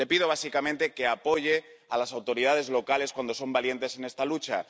Le pido básicamente que apoye a las autoridades locales cuando son valientes en esta lucha.